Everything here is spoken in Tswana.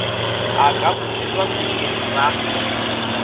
a ka busetswa sekeng sa